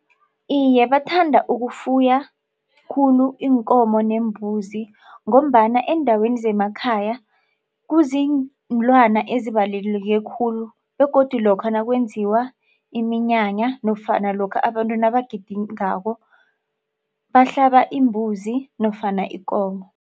Iye, bathanda ukufuya khulu iinkomo neembuzi ngombana eendaweni zemakhaya kuziinlwana ezibalulekile khulu begodu lokha nakwenziwa iminyanya nofana lokha abantu nabagidingako bahlaba imbuzi nofana ikomo.